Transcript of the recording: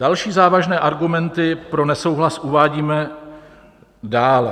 Další závažné argumenty pro nesouhlas uvádíme dále.